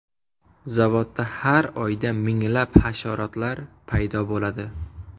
Zavodda har oyda minglab hasharotlar paydo bo‘ladi.